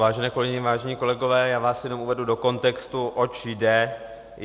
Vážené kolegyně, vážení kolegové, já vás jenom uvedu do kontextu, oč jde.